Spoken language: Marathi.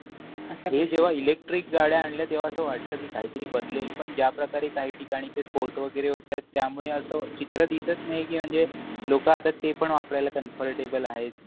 हे जेव्हा इलेक्ट्रिक गाड्या आल्या तेव्हा वाटलं की काहीतरी बदलेल पण ज्याप्रकारे काही ठिकाणी ते स्पोर्ट वगैरे होत आहे त्यामुळे असे चित्र दिसत नाही. म्हणजे लोक आता ते पण वापरायला कामफरटेबल आहेत.